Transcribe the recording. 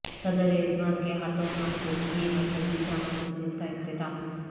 صدر ایردوان کے ہاتھوں ماسکوکی مرکزی جامع مسجد کا افتتاح